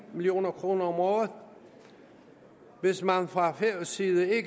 million kroner om året hvis man fra færøsk side ikke